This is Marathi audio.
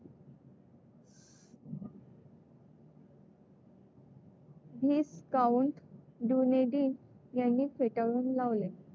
व्हिस्काउंट ड्युनेडिन यांनी फेटाळून लावले.